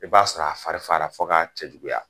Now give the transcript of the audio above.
I b'a sɔrɔ a fari fagara fo ka cɛjuguya.